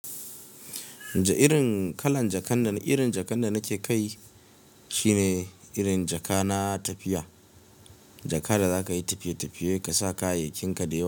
Irin kalan jakan da, irin jakan da nake kai shi ne irin jaka na tafiya. Jaka da za ka yi tafiye-tafiye ka sa kayayyakin ka da yawa.